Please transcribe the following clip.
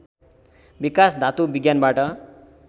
विकास धातु विज्ञानबाट